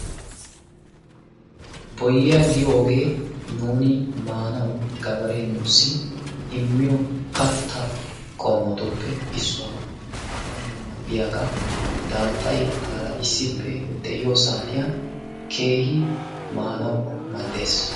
boyyiyaa giyooge nuuni maanaw gabaree nuussi immiyo katta qommotuppe issuwaa, maanawunne mal''iyaaga, daaxay aara issippe de'iyo saatiyan keehi maanaw mal''ees.